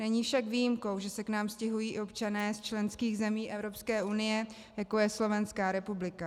Není však výjimkou, že se k nám stěhují i občané z členských zemí Evropské unie, jako je Slovenská republika.